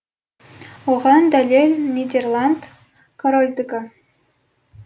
оған дәлел нидерланд корольдігі